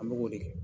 An bɛ k'o de kɛ